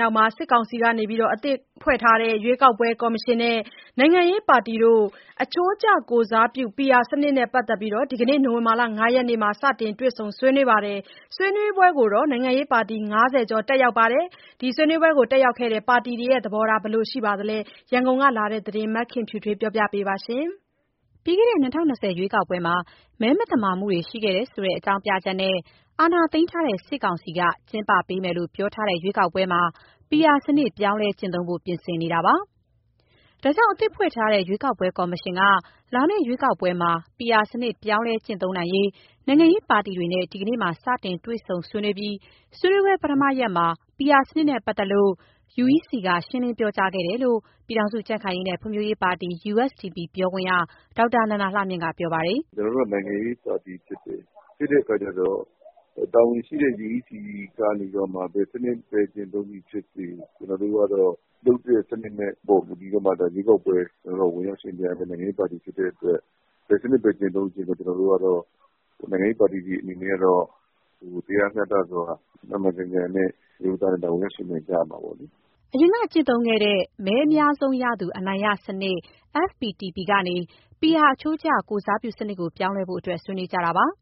နောက် စစ်ကောင်စီက အသစ်ဖွဲ့ထားတဲ့ ရွေးကောက်ပွဲကော်မရှင်နဲ့ နိုင်ငံရေးပါတီတွေ အချိုးကျကိုယ်စားပြုမှု PR စနစ်နဲ့ပတ်သက်ပြီး ဒီကနေ့ နိုဝင်ဘာ ၅ ရက် မှာ စတင်တွေ့ဆုံ ဆွေးနွေးခဲ့ကြပါတယ်။ ဆွေးနွေးပွဲကို နိုင်ငံရေးပါတီ ၅၀ ကျော် တက်ရောက်ခဲ့ကြပါတယ်။ ဒီဆွေးနွေးပွဲ တက်ရောက်ခဲ့တဲ့ ပါတီတွေရဲ့ သဘောထားက ဘယ်လိုရှိနေပါသလဲ၊ ရန်ကုန်ကလာတဲ့ သတင်းကို မခင်ဖြူထွေးက တင်ပြပေးထားပါတယ်။ ပြီးခဲ့တဲ့ ၂၀၂၀ ရွေးကောက်ပွဲမှာ မဲမသမာမှုတွေ ရှိခဲ့တယ်ဆိုတဲ့ အကြောင်းပြချက်နဲ့ အာဏာသိမ်းထားတဲ့ စစ်ကောင်စီက ကျင်းပပေးမယ်လို့ ပြောထားတဲ့ ရွေးကောက်ပွဲမှာ PR စနစ် ပြောင်းလဲကျင့်သုံးဖို့ပြင်ဆင်နေတာပါ။ ဒါကြောင့် အသစ်ဖွဲ့ထားတဲ့ရွေးကောက်ပွဲကော်မရှင်က လာမယ့် ရွေးကောက်ပွဲမှာ PR စနစ် ပြောင်းလဲကျင့်သုံးနိုင်ရေး နိုင်ငံရေးပါတီတွေနဲ့ ဒီကနေ့မှာ စတင်တွေ့ဆုံ ဆွေးနွေးခဲ့ပြီး ဆွေးနွေးပွဲပထမရက်မှာ PR စနစ်နဲ့ ပတ်သက်ပြီး UEC က ရှင်းလင်းပြောကြားခဲ့တယ်လို့ ပြည်ထောင်စု ကြံ့ခိုင်ရေးနဲ့ ဖွံ့ဖြိုးရေးပါတီ USDP ပြောခွင့်ရ ဒေါက်တာနန္ဒာလှမြင့်က ပြောပါတယ်။ "ကျနော်တို့က နိုင်ငံရေးပါတီဖြစ်တဲ့အခါကျတော့ တာဝန်ရှိတဲ့ UEC ကနေပြီးတော့မှ ဘယ်စနစ်ကျင့်သုံးသည်ဖြစ်စေ၊ ကျနော်တို့ကတော့ လုပ်တဲ့စနစ်ပေါ် မူတည်ပြီးတော့မှ ရွေးကောက်ပွဲဝင်ရောက် ယှဉ်ပြိုင်ရတဲ့ နိုင်ငံရေးပါတီ ဖြစ်တဲ့အတွက် ဘယ်စနစ်ပဲ ကျင့်သုံးကျင့်သုံး ကျနော်တို့ နိုင်ငံရေးပါတီတွေအနေနဲ့ကတော့ တရားမျှတစွာ မှန်မှန်ကန်ကန်နဲ့ ဝင်ရောက်ယှဉ်ပြိုင် ကြရမှာပေါ့လေ။" အရင်က ကျင့်သုံးခဲ့တဲ့ မဲအများဆုံးရသူ အနိုင်ရစနစ် FPTP ကနေ PR အချိုးကျ ကိုယ် စားပြုစနစ်ကို ပြောင်းလဲဖို့အတွက် ဆွေးနွေးနေကြတာပါ။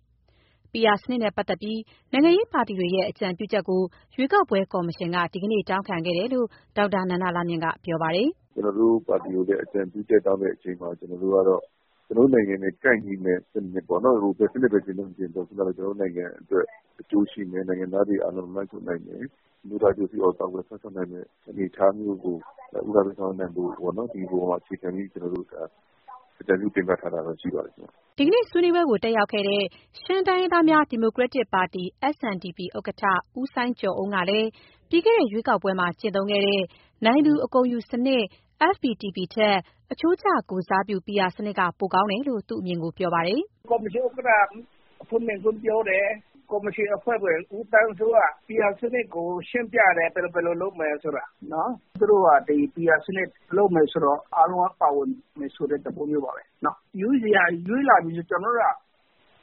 PR စနစ်နဲ့ပတ်သက်ပြီး နိုင်ငံရေးပါတီတွေရဲ့ အကြံပြုချက်ကို ရွေးကောက်ပွဲကော်မရှင်က ဒီနေ့ တောင်းခံခဲ့တယ်လို့ ဒေါက်တာနန္ဒာလှမြင့်က ပြောပါတယ်။ "ကျနော်တို့ပါတီကို အကြံပြုချက်တောင်းတဲ့အချိန်မှာ ကျနော်တို့ကတော့ ကျနော်တို့နိုင်ငံနဲ့ ကိုက်ညီမယ့် ဘယ်စနစ်ပဲ ကျင့်သုံးကျင့်သုံး အဓိကတော့ ကျနော်တို့နိုင်ငံအတွက် အကျိုးရှိမယ်၊ နိုင်ငံသားတွေ အားလုံးကိုလွှမ်းခြုံနိုင်မယ်၊ အမျိုးသား အကျိုးစီးပွားကို ကာကွယ်စောင့်ရှောက်နိုင်မယ့် အနေအထားမျိုးကို ဦးစားပေးဆောင်ရွက်နိုင်ဖို့ပေါ့။ ဒီအပေါ်မှာ အခြေခံပြီး ကျနော်တို့အကြံပြု တင်ပြထားတာတော့ ရှိပါတယ်။" ဒီကနေ့ ဆွေးနွေးပွဲကို တက်ရောက်ခဲ့တဲ့ ရှမ်းတိုင်းရင်းသားများ ဒီမိုကရက်တစ်ပါတီ SNDP ဥက္ကဋ္ဌ ဦးစိုင်းကျော်အုန်းကလည်း ပြီးခဲ့တဲ့ ရွေးကောက်ပွဲမှာကျင့်သုံးခဲ့တဲ့ နိုင်သူအကုန်ယူစနစ် (FPTP) ထက် အချိုးကျကိုယ်စားပြု PR စနစ်က ပိုကောင်းတယ်လို့ သူ့အမြင်ကို ပြောပါတယ်။ "ကော်မရှင်ဥက္ကဋ္ဌ အဖွင့်မိန့်ခွန်းပြောတယ်။ ကော်မရှင်အဖွဲ့ဝင် ဦးသန်းစိုးက PR စနစ်ကို ရှင်းပြတယ်၊ ဘယ်လိုလုပ်မယ်ဆိုတာ။ သူတို့က PR စနစ်လုပ်မယ်ဆိုတော့ အားလုံးက ပါဝင်မယ်ဆိုတဲ့ သဘောမျိုးပါပဲ။ UEC က ရွေးလာပြီဆိုရင် ကျနော်တို့က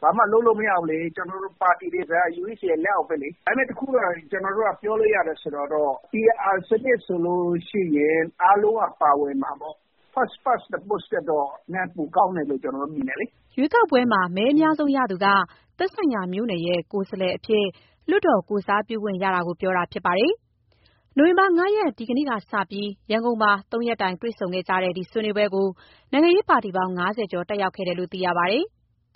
ဘာမှလုပ်လို့ မရဘူးလေ။ ကျနော်တို့ ပါတီတွေဆိုတာက UEC ရဲ့ လက်အောက်ပဲလေ။ ဒါပေမယ့် တခုကတော့ ကျနော်တို့က ပြောလို့ရတယ် ဆိုတာတော့ PR စနစ်ဆိုလို့ရှိရင် အားလုံးက ပါဝင်မှာပေါ့။ First Past the Post ထက်တော့ နည်းနည်းပိုကောင်းတယ်လို့ ကျနော်တို့မြင်တယ်လေ။" ရွေးကောက်ပွဲမှာ မဲအများဆုံးရသူက သက်ဆိုင်ရာမြို့နယ်ရဲ့ ကိုယ်စားလှယ်အဖြစ် လွှတ်တော် ကိုယ်စားပြုခွင့်ရတာကို ပြောတာဖြစ်ပါတယ်။ နိုဝင်ဘာ ၅ ရက် ဒီကနေ့ကစပြီး ရန်ကုန်မှာ ၃ ရက်တိုင် တွေ့ဆုံကြတဲ့ ဒီဆွေးနွေးပွဲကို နိုင်ငံရေးပါတီပေါင်း ၅၀ ကျော် တက်ရောက်ခဲ့တယ်လို့ သိရပါတယ်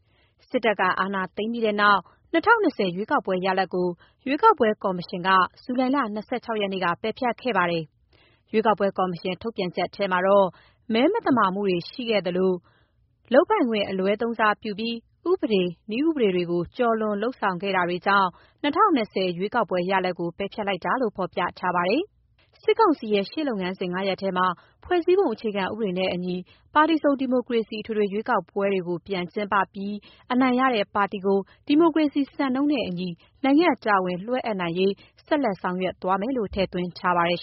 ။ စစ်တပ်က အာဏာသိမ်းခဲ့ပြီးနောက် ၂၀၂၀ ရွေးကောက်ပွဲရလဒ်ကို ရွေးကောက်ပွဲကော်မရှင်က ဇူလိုင်လ ၂၆ ရက်နေ့က ပယ်ဖျက်ခဲ့ပါတယ်။ ရွေးကောက်ပွဲကော်မရှင် ထုတ်ပြန် ချက်ထဲမှာတော့ မဲမသမာမှုတွေ တွေ့ရှိခဲ့သလို လုပ်ပိုင်ခွင့် အလွဲသုံးစားပြုပြီး ဥပဒေ၊ နည်းဥပဒေတွေကို ကျော်လွန်ဆောင်ရွက်ခဲ့တာတွေကြောင့် ၂၀၂၀ ရွေးကောက်ပွဲရလဒ်ကို ပယ်ဖျက်လိုက်တာလို့ ဖော်ပြထားပါတယ်။ စစ်ကောင်စီရဲ့ ရှေ့လုပ်ငန်းစဉ် ၅ ရပ်ထဲမှာ ဖွဲ့စည်းပုံအခြေခံဥပဒေနဲ့အညီ ပါတီစုံဒီမိုကရေစီ အထွေထွေရွေးကောက်ပွဲကို ပြန်ကျင်းပပြီး အနိုင်ရတဲ့ပါတီကို ဒီမိုကရေစီစံနှုန်းနဲ့ အညီ နိုင်ငံ့တာဝန်လွှဲအပ်နိုင်ရေး ဆက်လက်ဆောင်ရွက်သွားမယ်လို့ ထည့်သွင်းထားပါတယ်